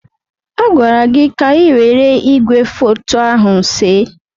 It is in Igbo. A gwara gị ka ị were igwefoto ahụ see!